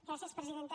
gràcies presidenta